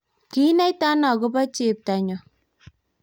kiinaitano akobo chepto nyo?